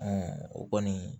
o kɔni